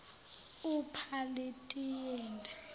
upalitiyeli